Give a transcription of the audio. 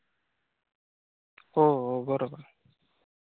हो हो बरोबर आहे.